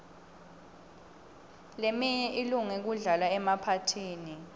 leminye ilunge kudlalwa emaphathini